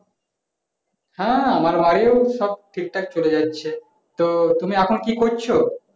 হ্যাঁ আমার বাড়ির সব ঠিক থাকে চলে যাচ্ছে তো টমি এখন কি করছো